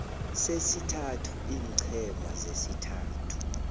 sesithathu iinqhema zesithathu